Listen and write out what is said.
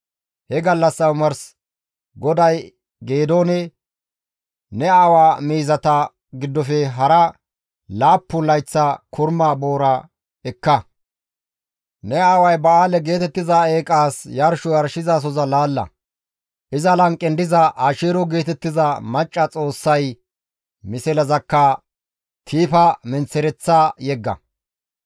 He gallassa omars GODAY Geedoone, «Ne aawa miizata giddofe hara laappun layththa korma boora ekka; ne aaway Ba7aale geetettiza eeqaas yarsho yarshizasoza laalla; iza lanqen diza Asheero geetettiza macca xoossay mislezakka tiifa menththereththa yegga.